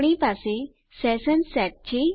આપણી પાસે session set છે